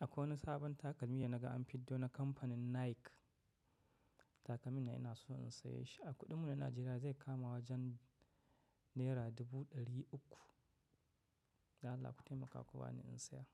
Akwai wani sabon takalmi da naga an fiddo na kamfanin Nike. Takalmin nan inaso in saye shi. A kuɗin mu na Najeriya zai kama wajen naira dubu ɗari uku. Don Allah ku taimaka ku bani in saya.